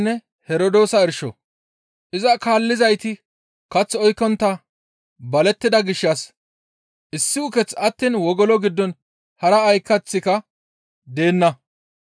Iza kaallizayti kath oykkontta balettida gishshas issi ukeththi attiin wogolo giddon hara ay kaththika deenna.